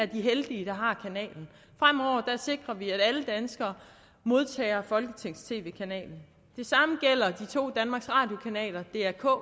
de heldige der har kanalen fremover sikrer vi at alle danskere modtager folketingets tv kanal det samme gælder de to danmarks radio kanaler dr k